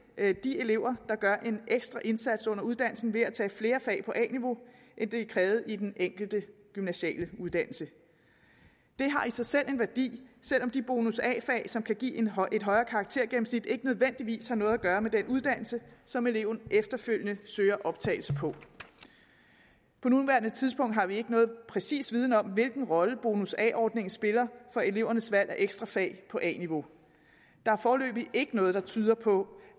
de elever der gør en ekstra indsats under uddannelsen ved at tage flere fag på a niveau end det er krævet i den enkelte gymnasiale uddannelse det har i sig selv en værdi selv om de bonus a fag som kan give et højere karaktergennemsnit ikke nødvendigvis har noget at gøre med den uddannelse som eleven efterfølgende søger optagelse på på nuværende tidspunkt har vi ikke nogen præcis viden om hvilken rolle bonus a ordningen spiller for elevernes valg af ekstra fag på a niveau der er foreløbig ikke noget der tyder på